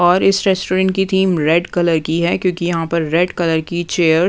और इस रेस्टोरेंट की थीम रेड कलर की हैं क्योंकि यहाँ पर रेड कलर की चेयर --